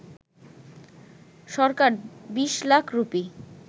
Sarkar ২০ lakh rupee